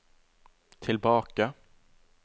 tilbake